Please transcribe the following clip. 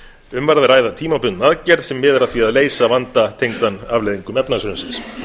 um er að ræða tímabundna aðgerð sem miðar að því að leysa vanda tengdan afleiðingum efnahagshrunsins